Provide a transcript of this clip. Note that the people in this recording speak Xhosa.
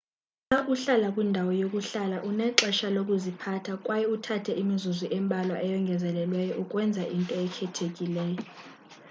xa uhlala kwindawo yokuhlala unexesha lokuziphatha kwaye uthathe imizuzu embalwa eyongezelelweyo ukwenza into ekhethekileyo